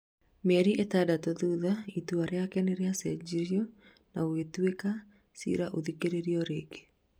mĩeri itandatu thutha, itũa riake nĩrĩacenjirio na gũgĩtuo cira ũthikĩrĩrio rĩngĩ